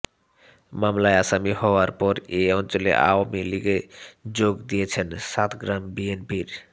মামলার আসামি হওয়ার পর এ অঞ্চলে আওয়ামী লীগে যোগ দিয়েছেন সাতগ্রাম বিএনপির